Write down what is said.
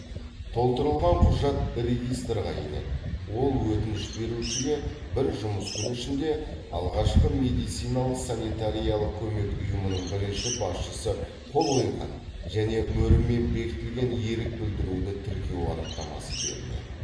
толтырылған құжат регистрға енеді ол өтініш берушіге бір жұмыс күні ішінде алғашқы медициналық санитариялық көмек ұйымының бірінші басшысы қол қойған және мөрімен бекітілген ерік білдіруді тіркеу анықтамасы беріледі